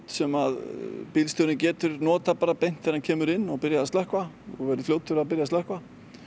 sem bílstjórinn getur notað beint þegar hann kemur inn og byrjað að slökkva verið fljótur að byrja að slökkva